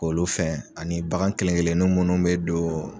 K'olu fɛn ani bagan kelen-kelenni munnu be don